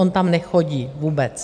On tam nechodí vůbec.